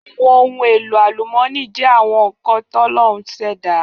Àwọn ohun èlò àlúmọní jẹ́ àwọn nkan ti Ọlọrun ṣẹ̀dá.